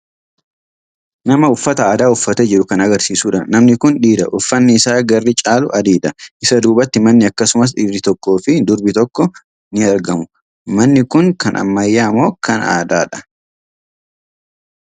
Nama uffata aadaa uffatee jiru kan agarsiisudha. Namni kun dhiira. Uffanni isaa garri caalu adiidha. Isa duubatti manni, akkasumas dhiirri tokkoo fi durbi tokko ni aragamu. Manni kun kan ammayyaa moo aadaadha?